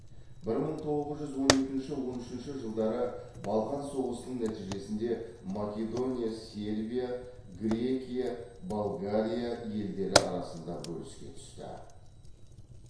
бір мың тоғыз жүз он екінші он үшінші жылдары балқан соғысының нәтижесінде македония сербия грекия болгария елдері арасында бөліске түсті